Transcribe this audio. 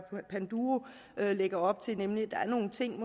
panduro lægger op til nemlig at der er nogle ting